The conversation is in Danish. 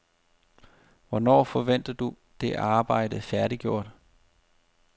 Hvornår forventer du det arbejde færdiggjort?